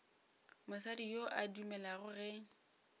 mosadi yo a dumelago ge